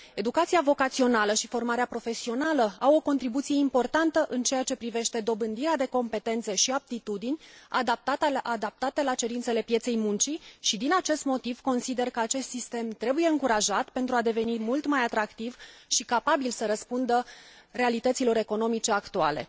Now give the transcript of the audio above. Educația vocațională și formarea profesională au o contribuție importantă în ceea ce privește dobândirea de competențe și aptitudini, adaptate la cerințele pieței muncii și, din acest motiv, consider că acest sistem trebuie încurajat pentru a deveni mult mai atractiv și capabil să răspundă realităților economice actuale.